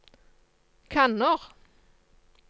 kanner